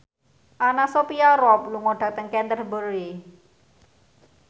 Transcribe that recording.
Anna Sophia Robb lunga dhateng Canterbury